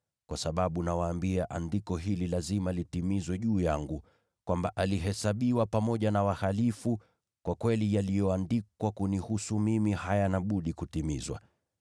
Kwa sababu, nawaambia, andiko hili lazima litimizwe juu yangu, kwamba, ‘Alihesabiwa pamoja na wakosaji’; kwa kweli yaliyoandikwa kunihusu mimi hayana budi kutimizwa.”